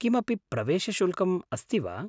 किमपि प्रवेशशुल्कम् अस्ति वा?